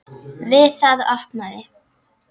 Við það opnaði